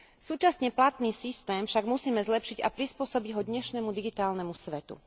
Súčasne platný systém však musíme zlepšiť a prispôsobiť ho dnešnému digitálnemu svetu.